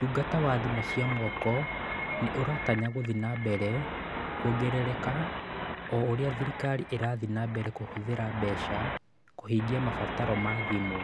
Ũtungata wa thimũ cia moko nĩ ũratanya gũthiĩ na mbere kuongerereka o ũrĩa thirikari ĩrathiĩ na mbere kũhũthĩra mbeca kũhingia mabataro ma thimũ.